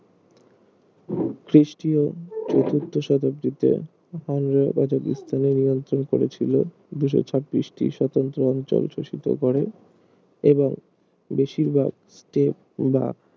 খ্রিস্টীয় চতুর্থ শতাব্দীতে কাজাকিস্তানে নিয়ন্ত্রন করেছিল দুশ ছাব্বিশ টি স্বতন্ত্র অঞ্চল শোষিত করে এবং বেশির ভাগ স্তেপ বা